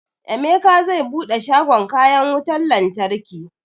Emeka zai buɗe shagon kayan wutan lantarki